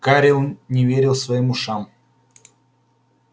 гарри не верил своим ушам